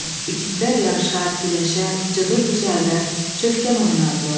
İgidlər yarışar, güləşər, cıdır düzəldər, çövkən oynardılar.